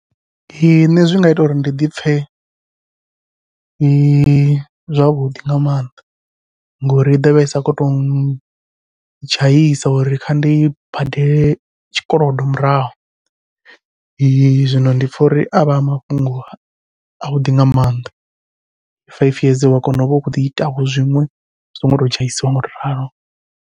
Ee nṋe zwi nga ita uri ndi dipfhe zwavhuḓi nga maanḓa, ngori i ḓovha i sa kho to dzhaisa uri kha ndi badele tshikolodo murahu. zwino ndi pfha uri a vha a mafhungo a vhuḓi nga maanḓa, faifi yeze wa kona uvha ukhou ḓi ita vho zwiṅwe u songo to tshaiswa ngau tou ralo.